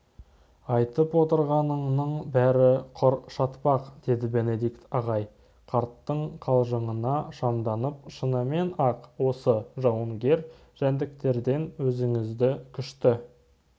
айтып отырғаныңның бәрі құр шатпақ деді бенедикт ағай қарттың қалжыңына шамданып шынымен-ақ осы жауынгер жәндіктерден өзіңізді күшті